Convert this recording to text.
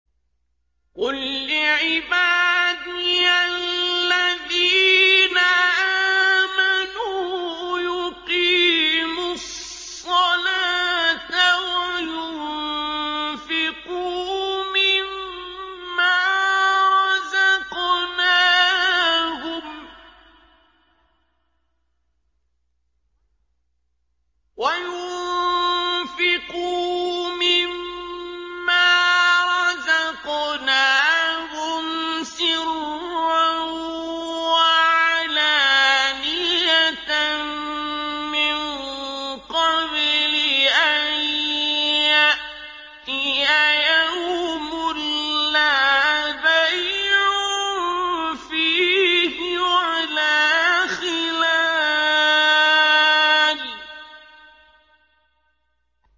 قُل لِّعِبَادِيَ الَّذِينَ آمَنُوا يُقِيمُوا الصَّلَاةَ وَيُنفِقُوا مِمَّا رَزَقْنَاهُمْ سِرًّا وَعَلَانِيَةً مِّن قَبْلِ أَن يَأْتِيَ يَوْمٌ لَّا بَيْعٌ فِيهِ وَلَا خِلَالٌ